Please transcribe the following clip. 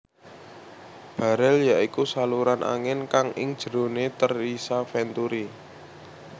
Barel ya iku saluran angin kang ing jerone terisa venturi